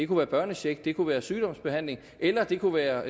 med børnecheck det kunne være sygdomsbehandling eller det kunne være